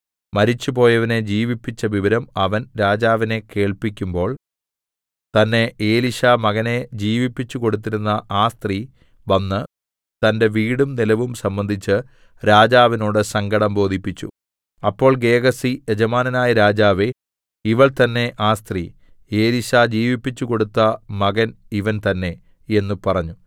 മരിച്ചുപോയവനെ ജീവിപ്പിച്ച വിവരം അവൻ രാജാവിനെ കേൾപ്പിക്കുമ്പോൾ തന്നെ എലീശാ മകനെ ജീവിപ്പിച്ചുകൊടുത്തിരുന്ന ആ സ്ത്രീ വന്ന് തന്റെ വീടും നിലവും സംബന്ധിച്ച് രാജാവിനോട് സങ്കടം ബോധിപ്പിച്ചു അപ്പോൾ ഗേഹസി യജമാനനായ രാജാവേ ഇവൾ തന്നേ ആ സ്ത്രീ എലീശാ ജീവിപ്പിച്ചുകൊടുത്ത മകൻ ഇവൻ തന്നേ എന്ന് പറഞ്ഞു